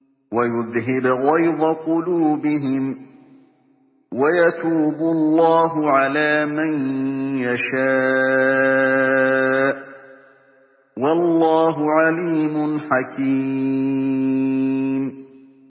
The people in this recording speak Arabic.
وَيُذْهِبْ غَيْظَ قُلُوبِهِمْ ۗ وَيَتُوبُ اللَّهُ عَلَىٰ مَن يَشَاءُ ۗ وَاللَّهُ عَلِيمٌ حَكِيمٌ